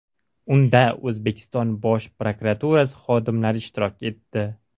Unda O‘zbekiston Bosh prokuraturasi xodimlari ishtirok etdi.